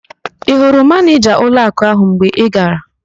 Ị hụrụ Manịjaa ụlọakụ ahụ mgbe ị gara?